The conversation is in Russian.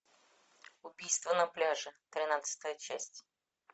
убийство на пляже тринадцатая часть